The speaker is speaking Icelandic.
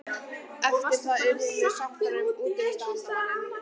Eftir það urðum sáttar við útivistarmálin.